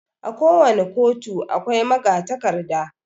A ko wani ƙotu akwai magatakarda